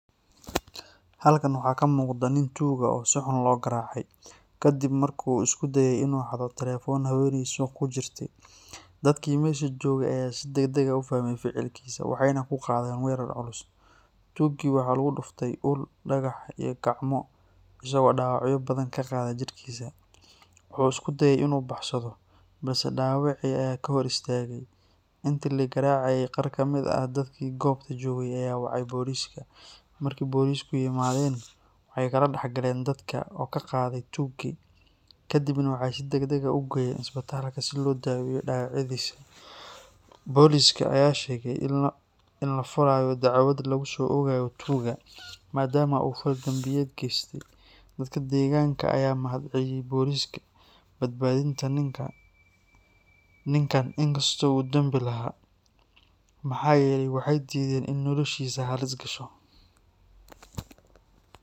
Halkan waxaa ka muuqdaah nin tuug ah oo si xun loo garaacay, kadib markii uu isku dayay inuu xado telefoon haweeney suuq ku jirtay. Dadkii meesha joogay ayaa si degdeg ah u fahmay ficilkiisa waxayna ku qaadeen weerar culus. Tuuggii waxaa lagu dhuftay ul, dhagax iyo gacmo, isagoo dhaawacyo badan ka qaaday jirkiisa. Wuxuu isku dayey inuu baxsado, balse dhaawacii ayaa ka hor istaagay. Intii la garaacayay, qaar ka mid ah dadkii goobta joogay ayaa wacay booliiska. Markii booliisku yimaadeen, waxay kala dhex galeen dadka oo ka qaaday tuuggii, kadibna waxay si degdeg ah u geeyeen isbitaalka si loo daweeyo dhaawacyadiisa. Booliiska ayaa sheegay in la furayo dacwad lagu soo oogayo tuugga, maadaama uu fal dambiyeed geystay. Dadka deegaanka ayaa u mahadceliyay booliiska badbaadinta ninkan inkastoo uu dambi lahaa, maxaa yeelay waxay diideen in noloshiisa halis gasho.